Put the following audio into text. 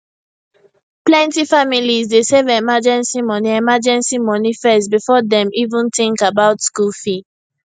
plenty families dey save emergency money emergency money first before dem even think about school fee